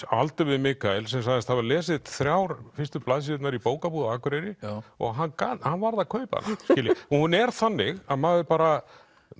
á aldur við Mikael sem sagðist hafa lesið þrjár fyrstu blaðsíðurnar í bókabúð á Akureyri og hann hann varð að kaupa hana hún er þannig að maður bara